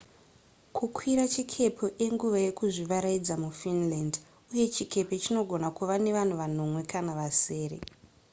kukwira chikepe inguva yekuzvivarayidza mufinland uye chikepe chinogona kuva nevanhu vanomwe kana vasere